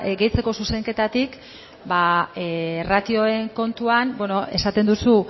gehitzeko zuzenketatik ratioen kontuan esaten duzu